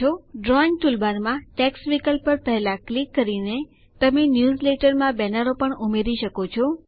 drawing ટૂલબારમાં text વિકલ્પ પર પહેલા ક્લિક કરીને તમે ન્યૂઝલેટરમાં બેનરો પણ ઉમેરી શકો છો